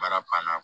Baara pan na